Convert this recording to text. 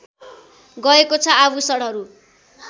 गएको छ आभूषणहरू